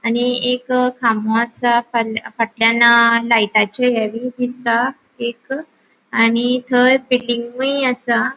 आणि एक खामो आसा पल फ़ाट्ल्याण लायटाचे हे बि दिसता एक आणि थय बिल्डिंगुय असा.